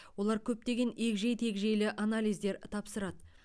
олар көптеген егжей тегжейлі анализдер тапсырады